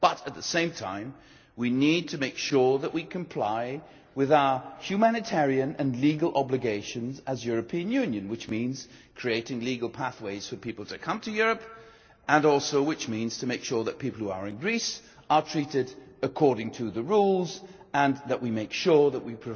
But at the same time, we need to make sure we comply with our humanitarian and legal obligations as the European Union, which means creating legal pathways for people to come to Europe, and which also means making sure that people who are in Greece are treated according to the rules and that we make sure that